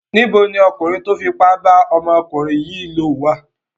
Níbo ni ọkùnrin tó fipá bá ọmọkùnrin yìí wà?